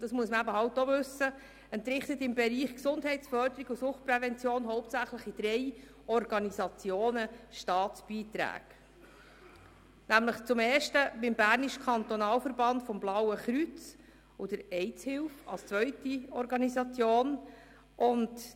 Dazu muss man wissen, dass die GEF im Bereich Gesundheitsförderung und Suchtprävention hauptsächlich an drei Organisationen Staatsbeiträge entrichtet: erstens dem bernischen Kantonalverband des Blauen Kreuzes und zweitens der AHBE.